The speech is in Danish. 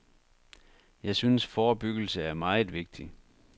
Jeg synes, forebyggelse er meget vigtig.